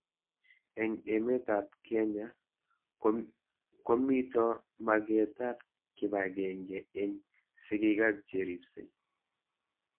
Eng' emet ab kKenya komito maget ab kipag'eng'e eng' sigik ak che ripsei